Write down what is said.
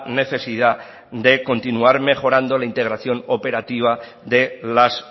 necesidad de continuar mejorando la integración operativa de las